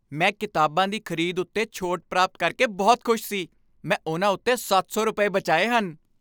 ਮੈਂ ਕਿਤਾਬਾਂ ਦੀ ਖ਼ਰੀਦ ਉੱਤੇ ਛੋਟ ਪ੍ਰਾਪਤ ਕਰਕੇ ਬਹੁਤ ਖੁਸ਼ ਸੀ। ਮੈਂ ਉਨ੍ਹਾਂ ਉੱਤੇ ਸੱਤ ਸੌ ਰੁਪਏ ਬਚਾਏ ਹਨ!